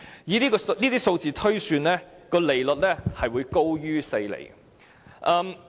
以這些數字推算，利率會高於4厘。